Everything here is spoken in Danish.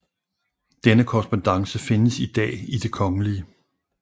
Denne korrespondance findes i dag i Det Kgl